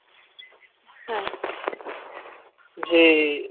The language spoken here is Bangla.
হ্যাঁ যে